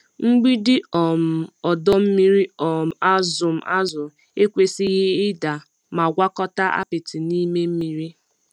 Mgbidi um ọdọ mmiri um azụm azụ ekwesịghị ịda ma gwakọta apịtị n'ime mmiri.